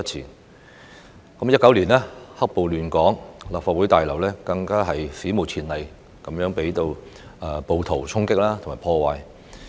2019年，"黑暴"亂港，立法會大樓更史無前例的遭到暴徒衝擊及破壞。